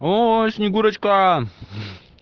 оо снегурочка